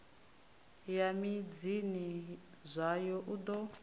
ya midzini yazwo u ḓo